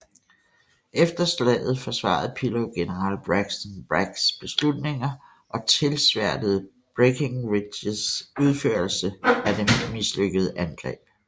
Efter slaget forsvarede Pillow general Braxton Braggs beslutninger og tilsværtede Breckinridges udførelse af det mislykkede angreb